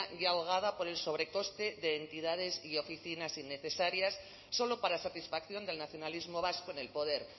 ya ahogada por el sobrecoste de entidades y oficinas innecesarias solo para satisfacción del nacionalismo vasco en el poder